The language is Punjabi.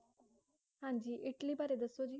ਹਾਂਜੀ ਇੱਟਲੀ ਬਾਰੇ ਦਸੋ ਜੀ